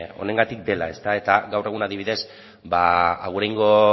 honengatik dela eta gaur egun adibidez aguraingo